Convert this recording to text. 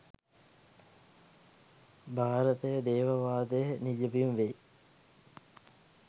භාරතය දේව වාදයේ නිජබිම වෙයි.